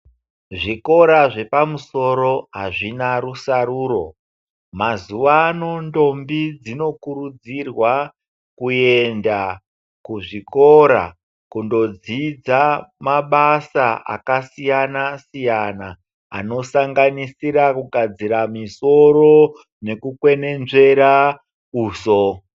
Zvikora zvepamusoro hazvina rusaruro. Mazuwano ndombi dzinokurudzirwa kuenda kuzvikora kundodzidza mabasa akasiyana-siyana anosanganisira kugadzira misoro nekukwenenzvera uso.